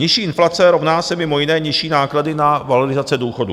Nižší inflace rovná se mimo jiné nižší náklady na valorizace důchodů.